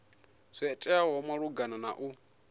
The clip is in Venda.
zwo teaho malugana na u